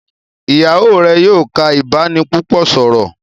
Ìyàwó rẹ yóò ká ibanipúpò sọrọ.